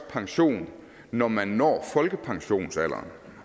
pension når man når folkepensionsalderen